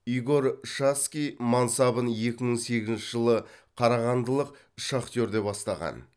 игорь шацкий мансабын екі мың сегізінші жылы қарағандылық шахтерде бастаған